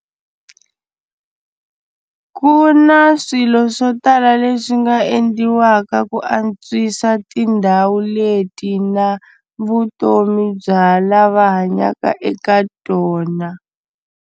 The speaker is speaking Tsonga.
Ku na swilo swo tala leswi nga endliwaka ku antswisa tindhawu leti na vutomi bya lava hanyaka eka tona.